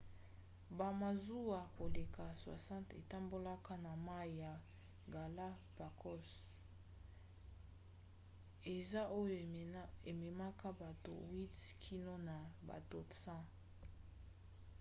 bamasuwa koleka 60 etambolaka na mai ya galapagos - eza oyo ememaka bato 8 kino na bato 100